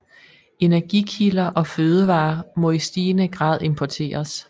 Energikilder og fødevarer må i stigende grad importeres